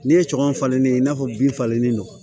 N'i ye cɔŋɔ falen i n'a fɔ bin falennen don